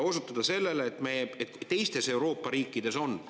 Osutatakse sellele, et teistes Euroopa riikides see on.